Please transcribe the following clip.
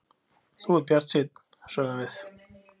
Þú ert bjartsýnn, sögðum við.